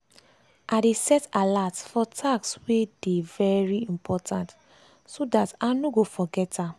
i dey set alert for task wey dey very important so dat i no go forget am.